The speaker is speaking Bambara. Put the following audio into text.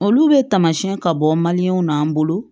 Olu bɛ tamasiɲɛ ka bɔ na an bolo